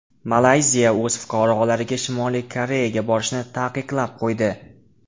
Malayziya o‘z fuqarolariga Shimoliy Koreyaga borishni taqiqlab qo‘ydi.